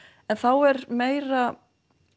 en þá er meira